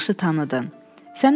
Nə yaxşı tanıdın?